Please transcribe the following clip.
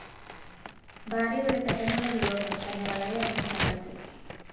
ഭാര്യയുടെ പെട്ടെന്നുള്ള വിയോഗം തന്നെ വളരെയധികം തളര്‍ത്തി